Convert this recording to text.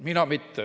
Mina mitte.